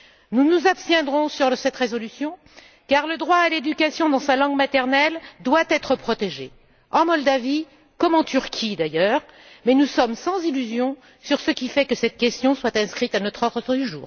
Nous nous abstiendrons sur cette résolution car le droit à l'éducation dans sa langue maternelle doit être protégé en Moldavie, comme en Turquie, d'ailleurs, mais nous sommes sans illusion sur ce qui fait que cette question soit inscrite à notre ordre du